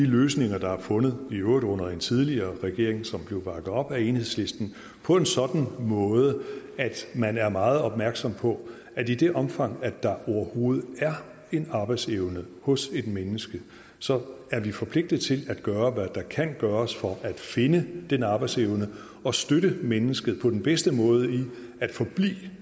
de løsninger der er fundet i øvrigt under en tidligere regering som blev bakket op af enhedslisten på en sådan måde at man er meget opmærksom på at i det omfang der overhovedet er en arbejdsevne hos et menneske så er vi forpligtet til at gøre hvad der kan gøres for at finde den arbejdsevne og støtte mennesket på den bedste måde i